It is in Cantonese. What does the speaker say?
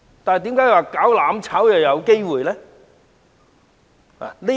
但為何"攬炒"卻有可能呢？